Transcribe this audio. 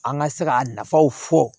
An ka se ka nafaw fɔ